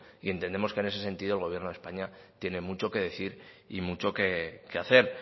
entendemos que en ese sentido el gobierno de españa tiene mucho que decir y mucho que hacer